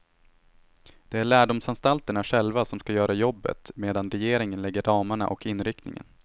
Det är lärdomsanstalterna själva som skall göra jobbet medan regeringen lägger ramarna och inriktningen.